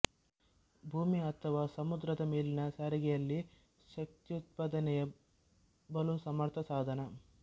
ಭೂಮಿ ಅಥವಾ ಸಮುದ್ರದ ಮೇಲಿನ ಸಾರಿಗೆಯಲ್ಲಿ ಶಕ್ತ್ಯುತ್ಪಾದನೆಗೆ ಬಲು ಸಮರ್ಥ ಸಾಧನ